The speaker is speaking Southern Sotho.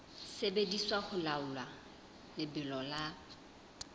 sebediswa ho laola lebelo la